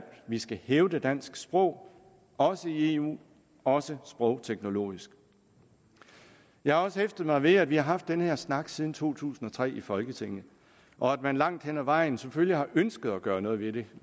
vi skal hævde dansk sprog også i eu også sprogteknologisk jeg har også hæftet mig ved at vi har haft den her snak siden to tusind og tre i folketinget og at man langt hen ad vejen selvfølgelig har ønsket at gøre noget ved det